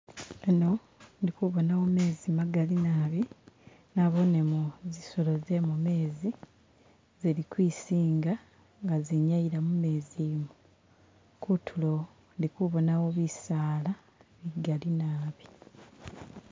Ano ndi kubonawo mezi magaali naabi, naboonemo zizolo ze mumezi zili ukwisinga nga zinyaliya mumezi umu, kutulo ndi kubonawo bisaala bigaali naabi.